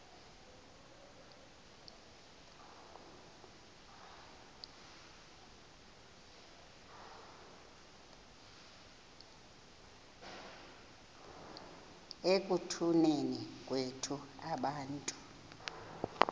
ekutuneni kwethu abantu